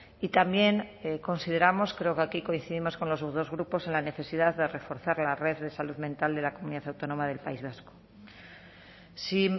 y también consideramos creo que aquí coincidimos con los dos grupos en la necesidad de reforzar la red de salud mental de la comunidad autónoma del país vasco si